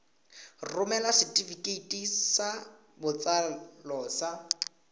romela setefikeiti sa botsalo sa